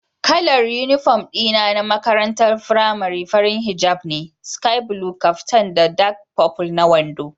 Kalar uniform dina na makarantar firamare fari hijab ne, sky blue caftan da dark purple na wando.